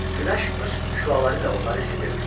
Günəş öz şüaları ilə onları isidirdi.